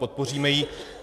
Podpoříme ji.